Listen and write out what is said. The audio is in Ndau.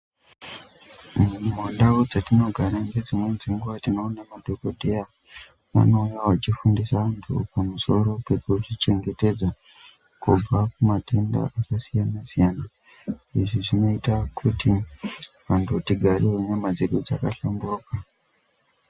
Mumandau dzatinogara ngedzimweni dzenguwa tinoona kuti vanouye vachifundise antu pamusoro pekuzvichengetedza kubva kumatenda akasiyana siyana izvi zvinoita kuti vantu tigare nyama dzedu dzakahlamburuka.